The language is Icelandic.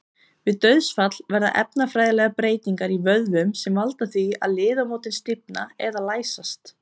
Við dauðsfall verða efnafræðilegar breytingar í vöðvum sem valda því að liðamót stífna eða læsast.